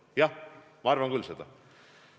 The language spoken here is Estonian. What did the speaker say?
Jah, ma arvan küll seda.